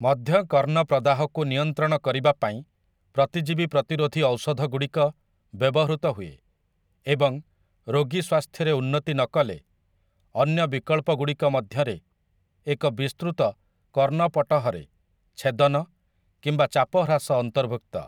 ମଧ୍ୟକର୍ଣ୍ଣ ପ୍ରଦାହକୁ ନିୟନ୍ତ୍ରଣ କରିବା ପାଇଁ ପ୍ରତିଜୀବି ପ୍ରତିରୋଧି ଔଷଧଗୁଡ଼ିକ ବ୍ୟବହୃତ ହୁଏ, ଏବଂ ରୋଗୀ ସ୍ୱାସ୍ଥ୍ୟରେ ଉନ୍ନତି ନକଲେ, ଅନ୍ୟ ବିକଳ୍ପଗୁଡ଼ିକ ମଧ୍ୟରେ ଏକ ବିସ୍ତୃତ କର୍ଣ୍ଣପଟହରେ ଛେଦନ କିମ୍ବା ଚାପହ୍ରାସ ଅନ୍ତର୍ଭୁକ୍ତ ।